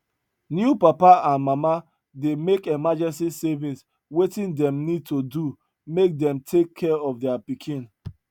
new papa and mama dey make emergency saving wetin them need to do make them take care of their pikin